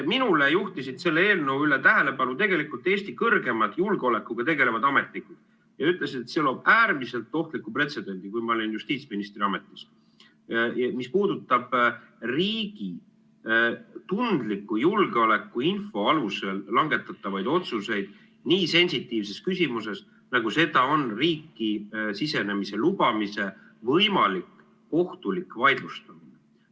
Minu tähelepanu juhtisid sellele eelnõule – kui ma olin justiitsministri ametis – Eesti kõrgemad julgeolekuga tegelevad ametnikud, kes ütlesid, et see loob äärmiselt ohtliku pretsedendi, mis puudutab riigi tundliku julgeolekuinfo alusel langetatavaid otsuseid nii sensitiivses küsimuses, nagu seda on riiki sisenemise lubamise võimalik kohtulik vaidlustamine.